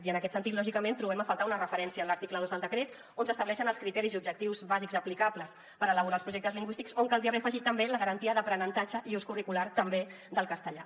i en aquest sentit lògicament hi trobem a faltar una referència en l’article dos del decret on s’estableixen els criteris i objectius bàsics aplicables per elaborar els projectes lingüístics on caldria haver afegit també la garantia d’aprenentatge i ús curricular també del castellà